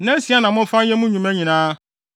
Nnansia na momfa nyɛ mo nnwuma nyinaa,